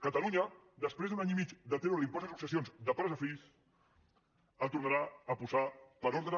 catalunya després d’un any i mig de treure l’impost de successions de pares a fills el tornarà a posar per ordre